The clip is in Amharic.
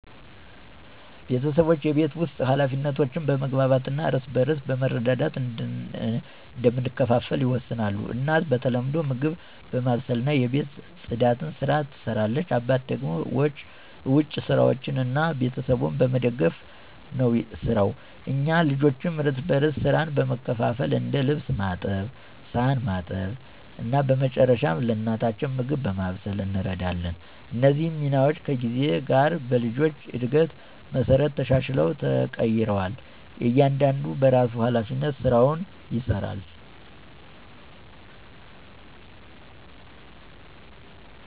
ቤተሰባችን የቤት ውስጥ ኃላፊነቶችን በመግባባት እና እርስ በርስ በመረዳዳት እንደምንከፋፈል ይወሰናል። እናት በተለምዶ ምግብ በማብሰልና የቤት ጽዳትን ስራ ትሰራለች አባት ደግሞ ውጭ ስራዎችን እና ቤተሰቡን በመደገፍ ነው የሰራው። እኛ ልጆችም እርስ በርስ ሥራ በመካፈል እንደ ልብስ ማጠብ ሳህን ማጠብ እና በመጨረሻ ለእናታችን ምግብ በማብሰል እንረዳታለን። እነዚህ ሚናዎች ከጊዜ ጋር በልጆች እድገት መሠረት ተሻሽለው ተቀይረዋል እያንዳንዱ በራሱ ሀላፊነት ስራውን ይሰራል።